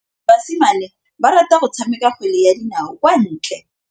Basimane ba rata go tshameka kgwele ya dinaô kwa ntle.